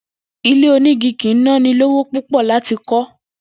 Ilé onígi kì í ná ni lówó púpò̩ láti kó̩